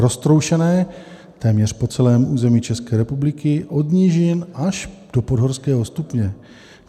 Roztroušené téměř po celém území České republiky od nížin až do podhorského stupně.